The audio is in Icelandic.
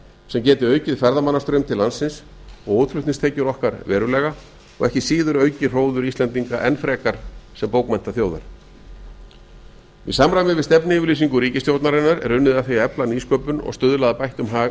sem geti aukið ferðamannastraum til landsins og útflutningstekjur okkar verulega og ekki síður aukið hróður íslendinga enn frekar sem bókmenntaþjóðar í samræmi viðs tefnuyfirlýsignu ríkisstjórnarinnar er unnið að var að efla nýsköpun og stuðla að bættum að